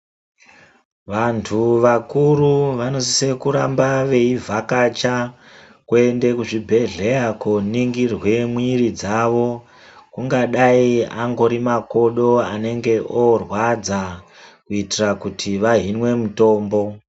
Vantu vakuru vanosisire kuramba veyivhakacha, kuenda kuzvibhedhleya koningirwe mwiri dzawo, ungadayi angori makodo anenge orwadza ,kuyitire kuti vahinwe mutombo.